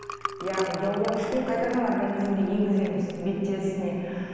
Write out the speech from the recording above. яғни гиалурон қышқылын қайтадан организмге енгіземіз бет терісіне